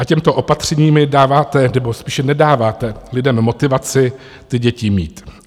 A těmito opatřeními dáváte, nebo spíše nedáváte lidem motivaci ty děti mít.